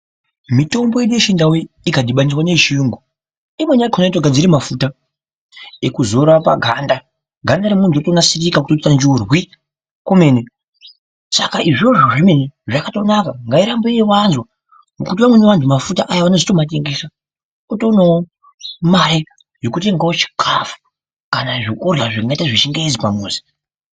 Mitombo yedu yechindau ikadhibaniswa neyechiyungu, imweni yakhona inotogadzira mafuta ekuzora paganda, ganda remuntu rotonadzirika, kutoita nzvurwi kwemene. Saka izvozvo zvemene zvakatonaka, ngairambe ichiwanzwa ngekuti amweni antu mafuta aya anotozomatengesa, otoonawo mare yekutenga chikhafu kana zvekurya zvingaita zvechingezi pamuzi.